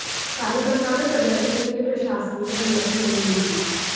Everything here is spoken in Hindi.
कार्यकर्ताओं ने प्रदर्शन के लिये प्रशासन से अनुमति नहीं ली थी